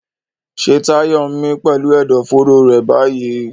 Ṣé Tayo ń mí pẹ̀lú ẹ̀dọ̀fóró rẹ̀ báyìí?